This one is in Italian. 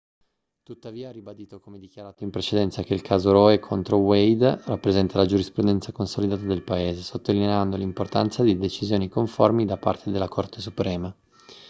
tuttavia ha ribadito come dichiarato in precedenza che il caso roe contro wade rappresenta la giurisprudenza consolidata del paese sottolineando l'importanza di decisioni conformi da parte della corte suprema